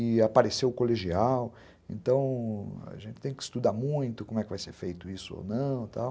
E apareceu o colegial, então a gente tem que estudar muito como é que vai ser feito isso ou não e tal.